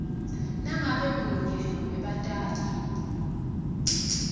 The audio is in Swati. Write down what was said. nangabe munye webatali